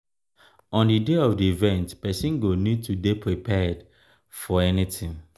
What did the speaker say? on di day of di event person go need to dey prepared um for anything